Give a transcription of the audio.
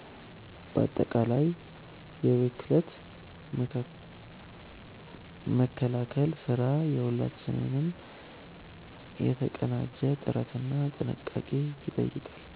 ባጠቃላይ የብክለት መከላከል ስራ የሁላችንንም የተቀናጀ ጥረትና ጥንቃቄ ይጠይቃል።